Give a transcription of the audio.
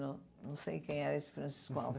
Não sei quem era esse Francisco Alves.